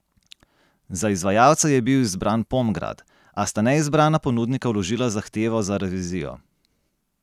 Za izvajalca je bil izbran Pomgrad, a sta neizbrana ponudnika vložila zahtevo za revizijo.